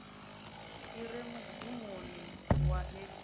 i re mugumoni wa heḽi